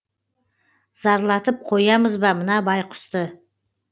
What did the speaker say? зарлатып қоямыз ба мына байқұсты